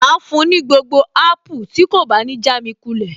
Màá fún un ní gbogbo apple tí kò bá ní jámi kulẹ̀